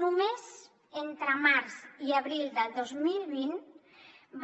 només entre març i abril del dos mil vint